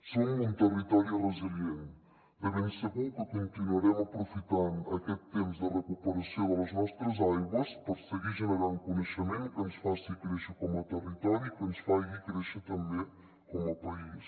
som un territori resilient de ben segur que continuarem aprofitant aquest temps de recuperació de les nostres aigües per seguir generant coneixement que ens faci créixer com a territori i que ens faci créixer també com a país